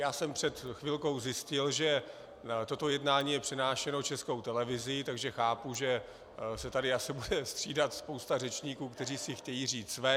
Já jsem před chvilkou zjistil, že toto jednání je přenášeno Českou televizí, takže chápu, že se tady asi bude střídat spousta řečníků, kteří si chtějí říct své.